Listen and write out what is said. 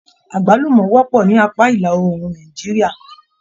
Agbalumọ wọpọ ní apá ìlàòrùn Nàìjíríà.